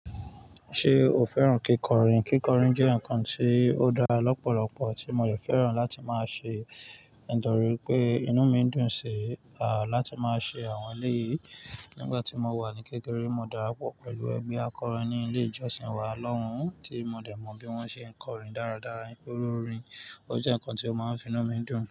Ṣé o fẹ́ràn kíkọrin? Kíkọrin jẹ́ ǹkan tí ó dára lọ́pọ̀lọpọ̀ tí mo jẹ̀ fẹ́ràn láti máa ṣe. Nitori pé inú mi dùn sí, à, láti máa ṣe àwọn eléyìí. Nígbà tí mo wà ní kékeré, mo darapọ̀ pẹ̀lú ẹgbe akọrin ní ilé ìjọsìn wa lọ́hùn, tí mo dẹ̀ mọ bí wọ́n ṣe ń kọrin dáradára. Orin, ó jẹ́ ǹkan tí ó máa ń fi inú mi dùn.